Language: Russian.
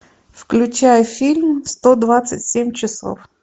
включай фильм сто двадцать семь часов